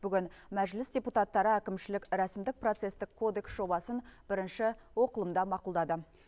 бүгін мәжіліс депутаттары әкімшілік рәсімдік процестік кодекс жобасын бірінші оқылымда мақұлдады